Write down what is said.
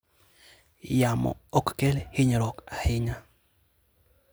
Yamo ok kel hinyruok ahinya.